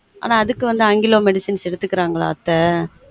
ஆனா அதுக்கு வந்து ஆங்கிலொ medicines எடுத்துக்குறாங்களா அத்த